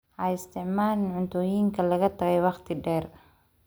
Ha isticmaalin cuntooyinka laga tagay wakhti dheer.